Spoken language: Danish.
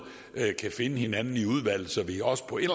kan finde hinanden i udvalget så vi også på en